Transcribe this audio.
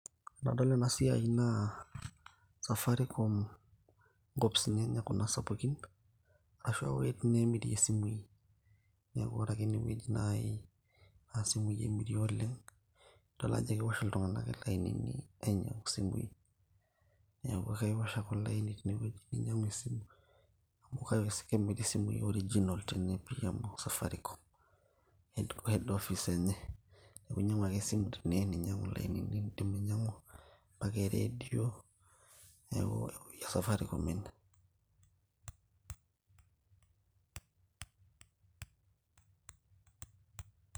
tenadol ena siai na safaricom inkopisini enye kuna sapukin ashuaa iwuejiti neemirie isimui neeku ore ake enewueji naaji naa isimui emiri oleng idol ajo kewosh iltung'anak ilainini ainyiang'u isimui neeku kaiwosh ake olaini tene ninyiang'u esimu amu kaiwes kemiri isimui original tene pii amu safaricom head office enye niaku inyiang'u tene ninyiang'u ilainini indim ainyiang'u [csmpaka e radio neeku ewueji e safaricom ene.